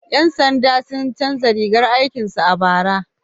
Ƴan sanda sun canza rigar aikin su a bara.